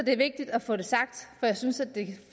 er vigtigt at få det sagt for jeg synes det